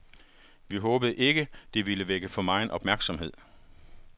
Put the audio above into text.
Vi håbede ikke, det ville vække for megen opmærksomhed.